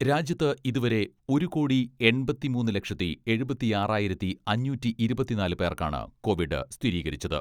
രാജ്യത്ത് ഇതുവരെ ഒരു കോടി എൺപത്തിമൂന്ന് ലക്ഷത്തി എഴുപത്തിയാറായിരത്തി അഞ്ഞൂറ്റി ഇരുപത്തിനാല് പേർക്കാണ് കോവിഡ് സ്ഥിരീകരിച്ചത്.